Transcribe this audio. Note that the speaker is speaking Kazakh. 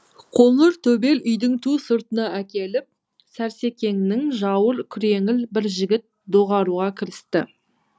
қоңыр төбел үйдің ту сыртына әкеліп сәрсекеңнің жауыр күреңіл бір жігіт доғаруға кірісті